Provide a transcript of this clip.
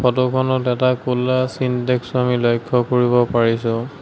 ফটোখনত এটা ক'লা ছিনটেক্সও আমি লক্ষ্য কৰিব পাৰিছোঁ।